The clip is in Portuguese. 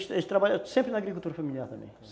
Eles trabalhavam, sempre na agricultura familiar também.